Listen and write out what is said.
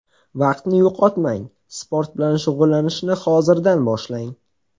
Vaqtni yo‘qotmang, sport bilan shug‘ullanishni hozirdan boshlang.